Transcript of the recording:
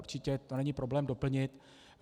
Určitě to není problém doplnit.